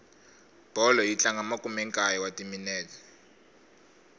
bolo yi tlanga makumenkaye wa timinete